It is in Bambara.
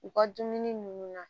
U ka dumuni ninnu na